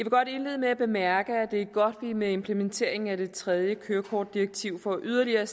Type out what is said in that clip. godt indlede med at bemærke at det er godt at vi med implementeringen af det trejde kørekortdirektiv får yderligere